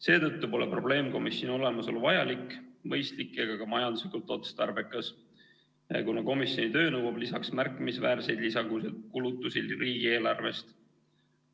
Seetõttu pole probleemkomisjoni olemasolu vajalik, mõistlik ega ka majanduslikult otstarbekas, kuna komisjoni töö nõuab lisaks märkimisväärseid lisakulutusi riigieelarvest.